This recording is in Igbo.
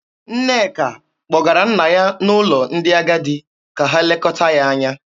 Nneka kpọgara nna ya n'ụlọ ndị agadi ka ha lekọta ya anya.